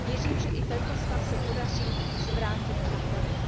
Věřím, že i tento stav se podaří zvrátit a napravit.